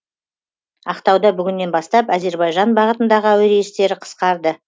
ақтауда бүгіннен бастап әзербайжан бағытындағы әуе рейстері қысқарды